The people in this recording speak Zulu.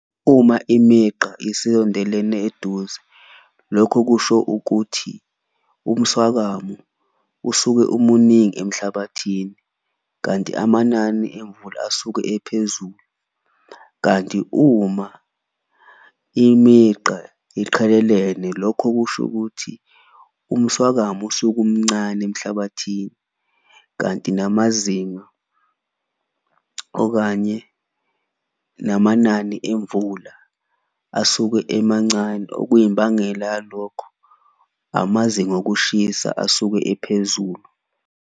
Uma imigqa isiyondelene eduze lokho kusho ukuthi umswakamo usuke umuningi emhlabathini, kanti amanani emvula asuke ephezulu. Kanti uma imigqa iqhelelene lokho kusho ukuthi umswakamo usuke umncane emhlabathini, kanti namazinga okanye namanani emvula asuke emancane. Okuyimbangela yalokho, amazinga okushisa asuke ephezulu.